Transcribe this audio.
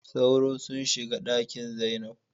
Sauro sunshiga Ɗakin zainab.